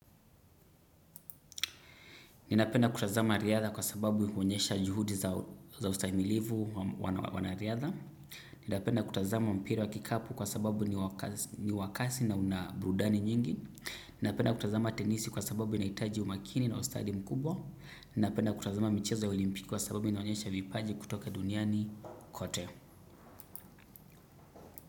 Ninapenda kutazama riadha kwa sababu huonyesha juhudi za ustahimilivu wanariadha. Ninapenda kutazama mpira wa kikapu kwa sababu ni wa kasi na una burudani nyingi. Napenda kutazama tenisi kwa sababu inahitaji umakini na ustadi mkubwa. Ninapenda kutazama michezo ya olimpiki kwa sababu inaonyesha vipaji kutoka duniani kote.